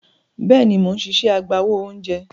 Bẹ́ẹ̀ni, mò ń ṣiṣẹ́ agbáwo oúnjẹ.